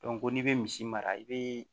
ko n'i bɛ misi mara i bɛ